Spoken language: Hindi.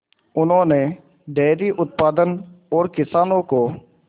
उन्होंने डेयरी उत्पादन और किसानों को